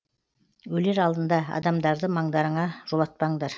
өлер алдында адамдарды маңдарыңа жолатпаңдар